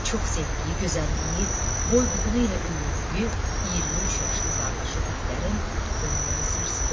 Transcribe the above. Çox sevdiyi gözəlliyi, boy-buxunu ilə öyündüyü 23 yaşlı qardaşı Heydərin ölümü onu sarsıdıb.